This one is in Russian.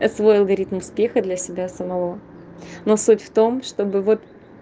св говорит успеха для себя самого но суть в том чтобы вот